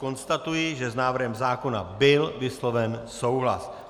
Konstatuji, že s návrhem zákona byl vysloven souhlas.